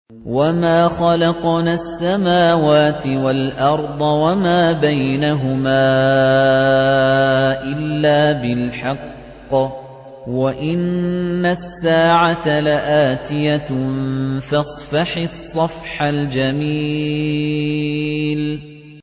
وَمَا خَلَقْنَا السَّمَاوَاتِ وَالْأَرْضَ وَمَا بَيْنَهُمَا إِلَّا بِالْحَقِّ ۗ وَإِنَّ السَّاعَةَ لَآتِيَةٌ ۖ فَاصْفَحِ الصَّفْحَ الْجَمِيلَ